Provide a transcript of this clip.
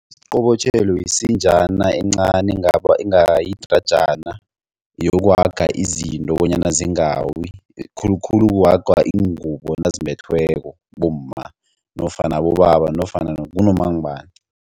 Isiqobotjhelo yisinjana encani enga yidrajana yokuhaga izinto bonyana zingawi. Khulukhulu kuhagwa ingubo nazimbethweko bomma nofana abobaba nofana kunomangubani.